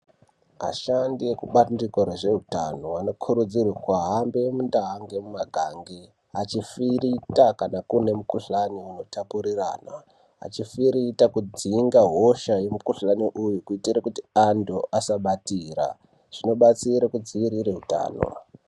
Ashandi ekubandiko rezvehutano anokurudzirwa kuhambe kundau Nemumagange achifirita kana kune mukuhlani unotapuririranwa achifirita kubvisa hosha remukuhlani uyu kuti antu asabatira zvinobatsira kudzivirira hutano.